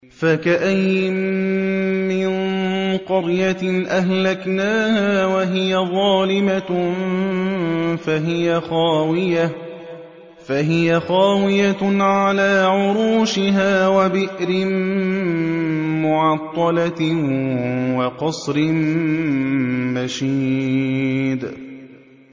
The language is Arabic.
فَكَأَيِّن مِّن قَرْيَةٍ أَهْلَكْنَاهَا وَهِيَ ظَالِمَةٌ فَهِيَ خَاوِيَةٌ عَلَىٰ عُرُوشِهَا وَبِئْرٍ مُّعَطَّلَةٍ وَقَصْرٍ مَّشِيدٍ